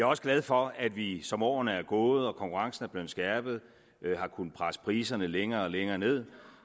også glad for at vi som årene er gået og konkurrencen er blevet skærpet har kunnet presse priserne længere og længere ned